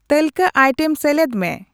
ᱛᱟᱹᱞᱠᱟᱹ item ᱥᱮᱞᱮᱫ ᱢᱮ